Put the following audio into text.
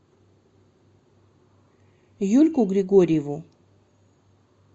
юльку григорьеву